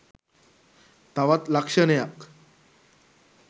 තවත් ලක්‍ෂණයක්.